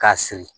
K'a siri